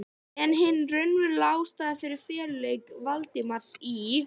En hin raunverulega ástæða fyrir feluleik Valdimars í